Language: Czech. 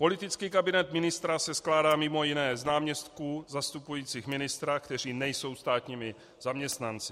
Politický kabinet ministra se skládá mimo jiné z náměstků zastupujících ministra, kteří nejsou státními zaměstnanci.